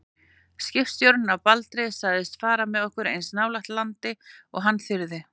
Skipstjórinn á Baldri sagðist fara með okkur eins nálægt landi og hann þyrði.